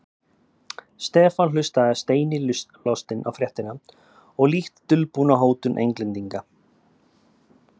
Stefán hlustaði steini lostinn á fréttina og lítt dulbúna hótun Englendinga.